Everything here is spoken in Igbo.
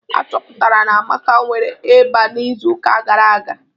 Achọpụtara na Amaka nwere ịba n'izu uka gara aga.